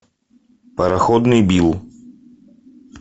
пароходный билл